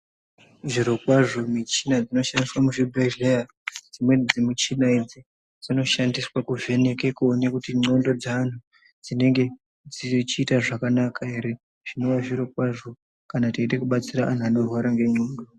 Zvirokwazvo michina dzinoshandiswa muzvibhedhlera, dzimweni dzemichina idzi dzinoshandiswa kuvheneka kuona kuti ndxondo dzaantu dzinenge dzirikuita zvakanaka ere zvinova zvirokwazvo kana teiide kudetsera antu anorwara ngendxondo.